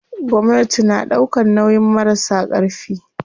Gwamnati na ɗaukan nauyin marasa ƙarfi.